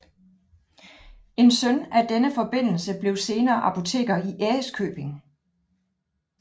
En søn af denne forbindelse blev senere apoteker i Ærøskøbing